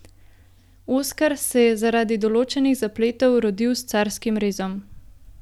Oskar se je zaradi določenih zapletov rodil s carskim rezom.